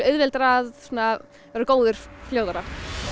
auðveldara að verða góður fljótt